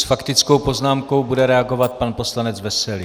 S faktickou poznámkou bude reagovat pan poslanec Veselý.